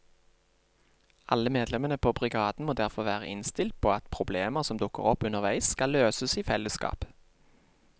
Alle medlemmene på brigaden må derfor være innstilt på at problemer som dukker opp underveis skal løses i fellesskap.